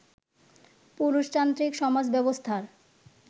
পুরুষতান্ত্রিক সমাজ ব্যবস্থার